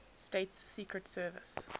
states secret service